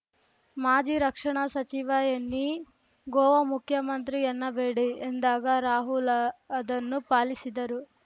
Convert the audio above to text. ಮಾಜಿ ರಕ್ಷಣಾ ಸಚಿವ ಎನ್ನಿ ಗೋವಾ ಮುಖ್ಯಮಂತ್ರಿ ಎನ್ನಬೇಡಿ ಎಂದಾಗ ರಾಹುಲ್‌ ಅದನ್ನು ಪಾಲಿಸಿದರು